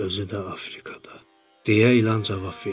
Özü də Afrikada, deyə İlan cavab verdi.